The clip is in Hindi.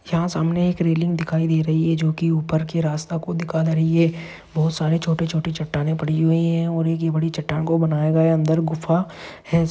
यहाँ सामने एक रेलिंग दिखाई दे रही जो की उपर की रास्ता को दिखा रही है बहुत सारे छोटे छोटे चट्टानें पड़ी हुई है और एक है बड़ी चट्टान को बनाया गया अंदर गुफा है।